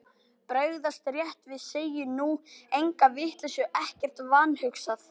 Bregðast rétt við, segja nú enga vitleysu, ekkert vanhugsað.